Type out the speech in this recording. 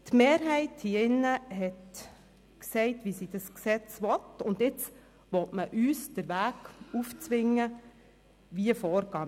Die Mehrheit hier im Grossen Rat hat gesagt, wie sie das Gesetz haben will, und jetzt will man uns den Weg aufzwingen, wie vorzugehen ist.